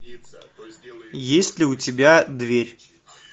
есть ли у тебя дверь